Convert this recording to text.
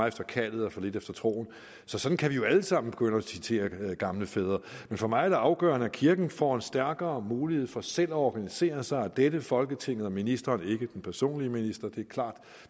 efter kaldet og for lidt efter troen så sådan kan vi jo alle sammen begynde at citere gamle fædre men for mig er det afgørende at kirken får en stærkere mulighed for selv at organisere sig og at dette folketing og ministeren ikke den personlige minister det er klart